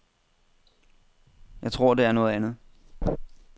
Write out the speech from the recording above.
Jeg tror, det er noget andet.